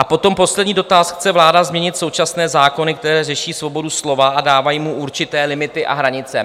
A potom poslední dotaz: chce vláda změnit současné zákony, které řeší svobodu slova a dávají mu určité limity a hranice?